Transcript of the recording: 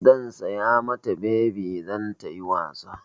Zan saya mata bebi don ta yi wasa.